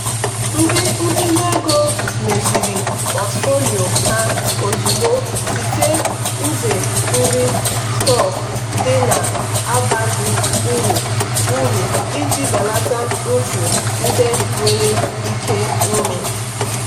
ndị ntinye ego meziri pọtụfoliyo ha ozugbo site nz-ịre stọkụ ndị na-abaghị uru uru iji belata mfu ndị nwere ike ime.